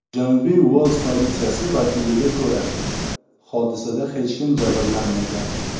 Janubiy Uels politsiyasi vakiliga ko‘ra, hodisada hech kim jabrlanmagan.